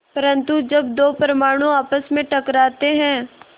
परन्तु जब दो परमाणु आपस में टकराते हैं